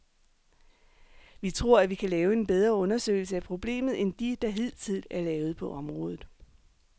Vi tror, at vi kan lave en bedre undersøgelse af problemet end de, der hidtil er lavet på området.